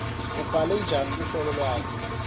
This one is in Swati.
ubhale njani luhlolo lwakho